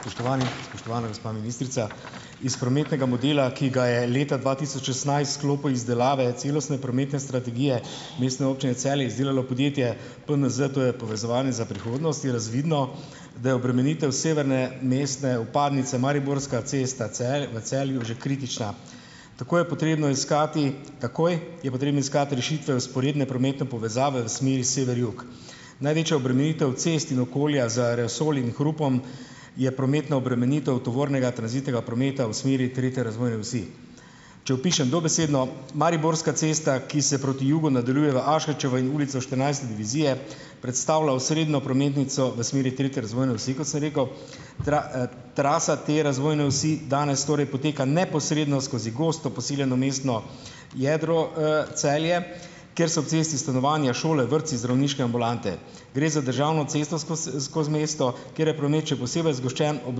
Spoštovani, spoštovana gospa ministrica! Iz prometnega modela, ki ga je leta dva tisoč šestnajst v sklopu izdelave celostne prometne strategije Mestne občine Celje izdelalo podjetje PNZ, to je Povezovanje za prihodnost, je razvidno, da je obremenitev severne mestne vpadnice, Mariborska cesta v Celju, že kritična. Tako je potrebno iskati takoj, je potrebno iskati rešitve vzporedne prometne povezave v smeri jug-sever. Največja obremenitev cest in okolja z aerosoli in hrupom, je prometna obremenitev tranzitnega tovornega prometa v smeri tretje razvojne osi. Če opišem dobesedno, Mariborska cesta, ki se proti jugu nadaljuje v Aškerčevo in Ulico štirinajste divizije, predstavlja osrednjo prometnico v smeri tretje razvojne osi, kot sem rekel, trasa te razvojne osi danes torej poteka neposredno skozi gosto poseljeno mestno jedro, Celje, kjer so ob cesti stanovanja, šole, vrtci, zdravniške ambulante. Gre za državno cestno skozi skozi mesto, kjer je promet še posebej zgoščen ob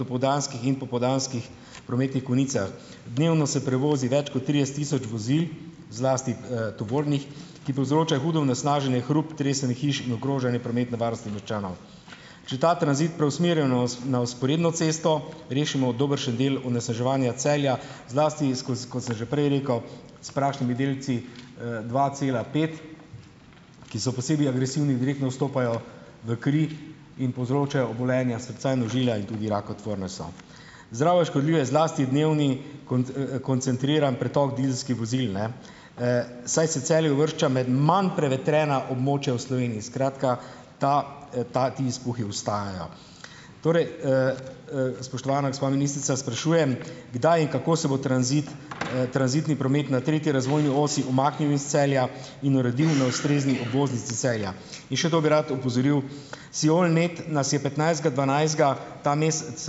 dopoldanskih in popoldanskih prometnih konicah. Dnevno se prevozi več kot trideset tisoč vozil, zlasti, tovornih, ki povzročajo hudo onesnaženje, hrup, tresenje hiš in ogrožanje prometne varnosti občanov. Če ta tranzit preusmerijo na vzporedno cesto, rešimo dobršen del onesnaževanja Celja, zlasti iz kot sem že prej rekel, s prašnimi delci, dva cela pet, ki so posebej agresivni in direktno vstopajo v kri in povzročajo obolenja srca in ožilja in tudi rakotvorne so. Zdravju škodljiv je zlasti dnevni konec, koncentriran pretok dizelskih vozil, ne, saj se Celje uvršča med manj prevetrena območja v Sloveniji, skratka, ta, ta ti izpuhi ostajajo. Torej, spoštovana gospa ministrica, sprašujem: Kdaj in kako se bo tranzit, tranzitni promet na tretji razvojni osi umaknil iz Celja in uredil na ustrezni obvoznici Celja? In še to bi rad opozoril. Siol net nas je petnajstega dvanajstega, ta mesec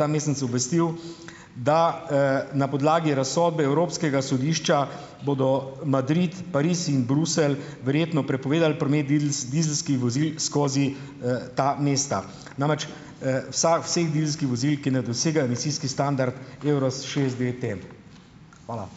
ta mesec obvestil, da, na podlagi razsodbe Evropskega sodišča bodo Madrid, Pariz in Bruselj verjetno prepovedali promet dizelskih vozil skozi, ta mesta. Namreč, vsa vseh dizelskih vozil, ki ne dosegajo emisijski standard Euro šest devet EM. Hvala.